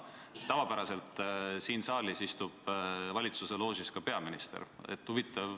Tavapäraselt istub siin saalis valitsuse loožis ka peaminister.